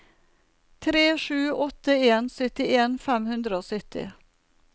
tre sju åtte en syttien fem hundre og sytti